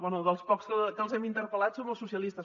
bé dels pocs que els hem interpel·lat som els socialistes